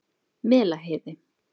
Melaheiði